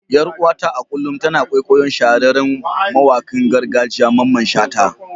Yar uwata a kullum tana kwaikwayon shahararren mawakin gargajiya Mamman shata.